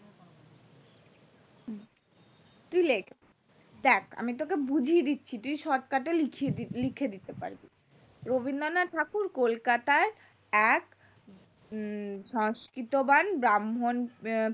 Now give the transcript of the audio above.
তুই লেখ দেখ আমি তোকে বুঝিয়ে দিচ্ছি তুই shortcut এ লেখ লিখে দিতে পারবি রবীন্দ্রনাথ ঠাকুর কলকাতার এক সংস্কৃতবান ব্রাহ্মন